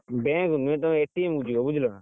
Bank ନୁହେଁ ତୁମେ କୁ ଯିବ ବୁଝିଲା ନା,